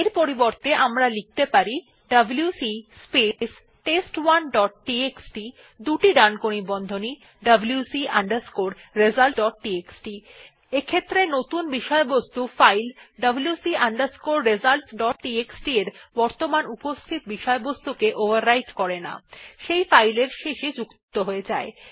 এর পরিবর্তে আমরা লিখতে পারি ডব্লিউসি স্পেস টেস্ট1 ডট টিএক্সটি দুটি ডানকোণী বন্ধনী WC underscore results dot TXT নতুন বিষয়বস্তু file WC underscore results dot TXT এর বর্তমান উপস্থিত বিষয়বস্তু ওভাররাইট করে না সেই ফাইল এর শেষে যুক্ত হয়ে যায়